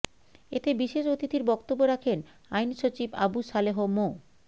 এতে বিশেষ অতিথির বক্তব্য রাখেন আইন সচিব আবু সালেহ মো